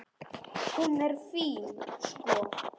Hún er fín, sko.